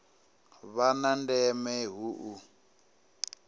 vha na ndeme hu u